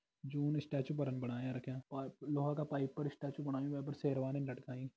जून statue बरफ बणाया रख्यां और लोहा का पाइप पर स्टैचू बणायूं वै पर शेरवानी लटकाईं।